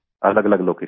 अलगअलग लोकेशन से